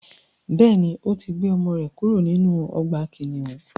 Bẹ́ẹ̀ni, ò tí gbé ọmọ rẹ̀ kúrò nínú ọgbà kìnnìún.